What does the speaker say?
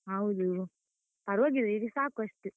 ಹೌದು ಪರ್ವಾಗಿಲ್ಲ, ಈಗ ಸಾಕು ಅಷ್ಟು.